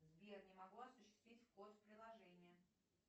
сбер не могу осуществить вход в приложение